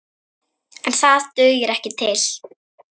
En það dugir ekki til.